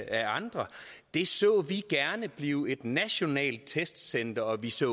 af andre det så vi gerne blive et nationalt testcenter og vi så